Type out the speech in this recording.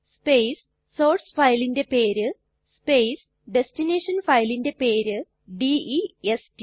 space source ഫയലിന്റെ പേര് space destination ഫയലിന്റെ പേര് ഡെസ്റ്റ്